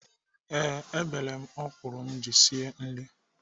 Ee, ebere m ọkwụrụ m ji esi nri.